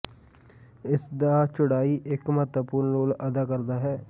ਇਸ ਦਾ ਚੌੜਾਈ ਇੱਕ ਮਹੱਤਵਪੂਰਨ ਰੋਲ ਅਦਾ ਕਰਦਾ ਹੈ